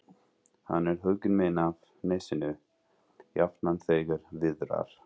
Hann er huggun mín af nesinu, jafnan þegar viðrar.